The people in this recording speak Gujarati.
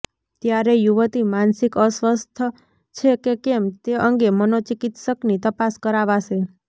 ત્યારે યુવતી માનસિક અસ્વસ્થ છે કે કેમ તે અંગે મનોચિકિત્સકની તપાસ કરાવાશે